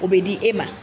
O bɛ di e ma